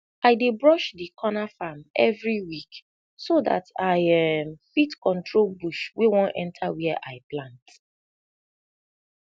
i dey brush de corna farm everi week so dat i um fit control bush wey wan enta wia i plant